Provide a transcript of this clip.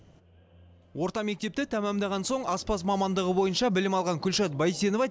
орта мектепті тәмамдаған соң аспаз мамандығы бойынша білім алған күлшат байтенова